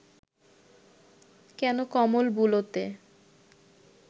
কেন কমল বুলোতে